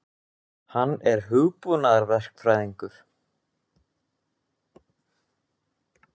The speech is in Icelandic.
Hann er hugbúnaðarverkfræðingur.